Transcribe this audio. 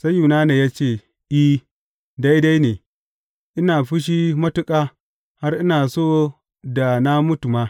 Sai Yunana ya ce, I, daidai ne, ina fushi matuƙa, har ina so da na mutu ma.